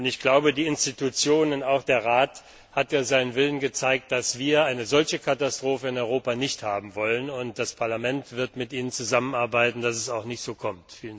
Ich glaube, die Institutionen auch der Rat hat ja seinen Willen gezeigt, dass wir eine solche Katastrophe in Europa nicht haben wollen, ebenso das Parlament werden mit Ihnen zusammenarbeiten, damit es so auch nicht kommt.